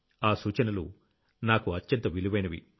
ఆ సూచనలు నాకు అత్యంత విలువైనవి